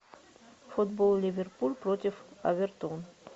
футбол ливерпуль против эвертон